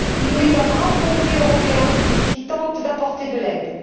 Il n'est qu'un brave pompier européen qui tente d'apporter de l'aide.